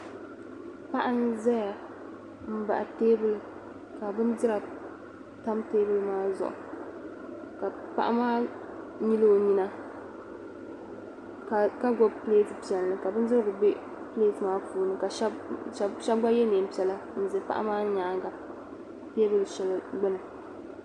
Paɣa n-zaya m-baɣi teebuli ka bindira tam teebuli maa zuɣu ka paɣa maa nyili o nyina ka gbibi pileeti piɛlli ka bindirigu be pileeti maa puuni ka shɛba gba ye neem' piɛla n-za paɣa maa nyaaŋga teebuli shɛli gbini.